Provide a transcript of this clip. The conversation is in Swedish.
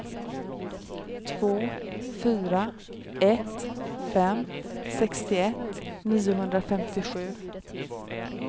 två fyra ett fem sextioett niohundrafemtiosju